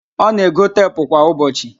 Ọ na-ego teepụ kwa ụbọchị